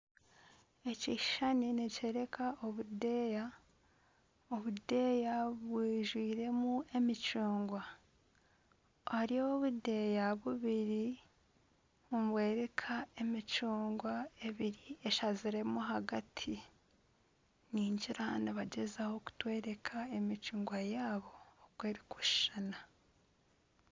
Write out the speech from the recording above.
Ekishushani nikyooreka obudeeya obudeeya bwijwiiremu emicungwa ahari obudeeya bubiri nibworeka emicungwa ebiri eshaziremu ahagati ningira nibagyezaho kutworeka emicungwa yaabo oku erikushushana.